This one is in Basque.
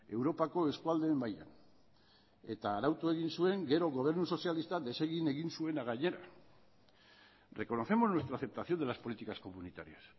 europako eskualdeen mailan eta arautu egin zuen gero gobernu sozialistak desegin egin zuena gainera reconocemos nuestra aceptación de las políticas comunitarias